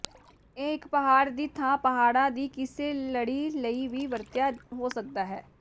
ਇਹ ਇੱਕ ਪਹਾੜ ਦੀ ਥਾਂ ਪਹਾੜਾਂ ਦੀ ਕਿਸੇ ਲੜੀ ਲਈ ਵੀ ਵਰਤਿਆ ਹੋ ਸਕਦਾ ਹੈ